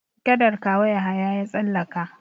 Gadar Kawo Yahaya ya tsallaka.